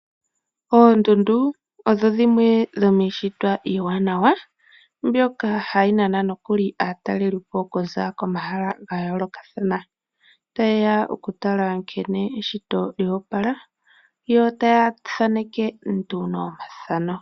Oondundu odho dhimwe dhomiishitwa iiwanawa mbyoka hayi hili aataleli okuza komahala gayoolokathana taye ya okutala nkene eshito lyoopala yo taya thaaneke omafano.